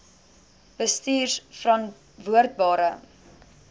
bestuurverantwoordbare